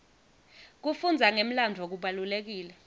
kufundza ngemlandvo kubalulekile